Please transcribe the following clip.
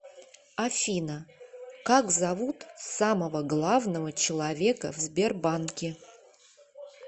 афина как зовут самого главного человека в сбербанке